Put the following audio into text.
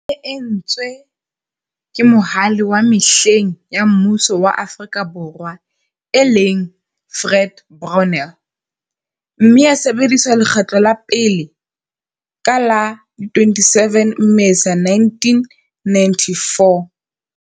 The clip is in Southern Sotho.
E ne e etswe ke Mohale wa mehleng wa mmuso wa Afrika Borwa, e leng, Fred Brownell, mme ya sebediswa lekgetlo la pele ka la 27 Mmesa 1994.